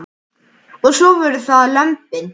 Og svo voru það lömbin.